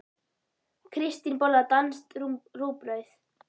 Kristín borðar danskt rúgbrauð.